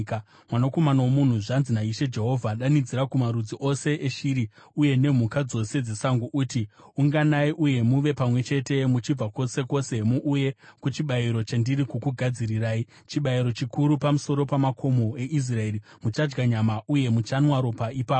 “Mwanakomana womunhu, zvanzi naIshe Jehovha: Danidzira kumarudzi ose eshiri uye nemhuka dzose dzesango uti, ‘Unganai uye muve pamwe chete muchibva kwose kwose muuye kuchibayiro chandiri kukugadzirirai, chibayiro chikuru pamusoro pamakomo eIsraeri. Muchadya nyama uye muchanwa ropa ipapo.